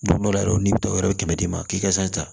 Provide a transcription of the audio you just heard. Don dɔ la yɛrɛ n'i bɛ to yɔrɔ kɛmɛ d'i ma k'i ka san ta